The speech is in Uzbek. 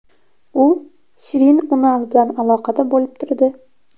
U Shirin Unal bilan aloqada bo‘lib turdi.